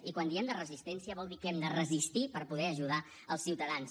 i quan diem de resistència vol dir que hem de resistir per poder ajudar els ciutadans